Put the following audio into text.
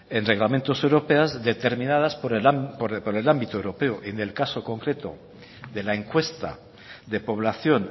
en reglamentos europeos determinadas por el ámbito europeo en el caso concreto de la encuesta de población